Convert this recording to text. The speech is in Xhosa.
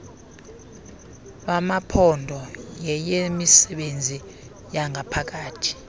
lwamaphondo yeyemisebenzi yangaphakathi